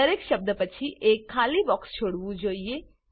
દરેક શબ્દ પછી એક ખાલી બોક્સ છોડવું જોઈએ